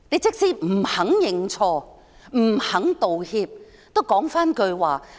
即使她不肯認錯、不肯道歉，也要說一句話。